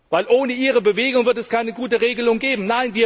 Denn ohne Ihre Bewegung wird es keine gute Regelung geben.